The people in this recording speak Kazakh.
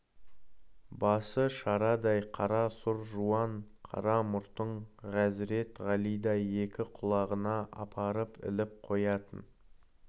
басы шарадай қара сұр жуан қара мұртын ғазірет ғалидай екі құлағына апарып іліп қоятын